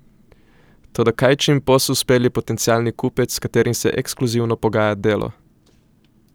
Toda kaj če jim posel spelje potencialni kupec, s katerim se ekskluzivno pogaja Delo?